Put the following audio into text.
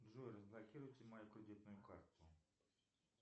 джой разблокируйте мою кредитную карту